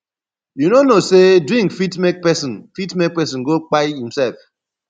you no know sey drink fit make pesin fit make pesin go kpai imsef